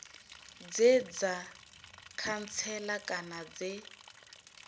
dze dza khantsela kana dze